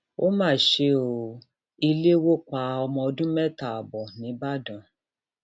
ó mà ṣe ọ ilé wò pa ọmọọdún mẹta ààbọ nìbàdàn